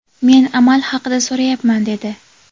men amal haqida so‘rayapman, dedi.